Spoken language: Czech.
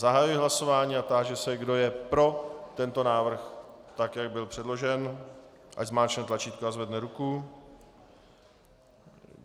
Zahajuji hlasování a táži se, kdo je pro tento návrh, tak jak byl předložen, ať zmáčkne tlačítko a zvedne ruku.